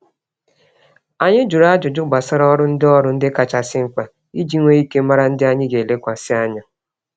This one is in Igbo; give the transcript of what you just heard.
Anyị jụrụ ajụjụ gbásárá ọrụ ndị ọrụ ndị kachasị mkpa, iji nwe ike màrà ndị anyị gelekwasị ányá